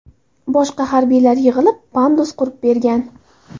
Boshqa harbiylar yig‘ilib, pandus qurib bergan.